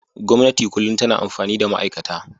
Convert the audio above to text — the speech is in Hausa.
Gwamnati kullum tana amfani da ma'aikata.